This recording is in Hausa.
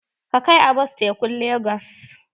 Ka kai Abbas tekun legas!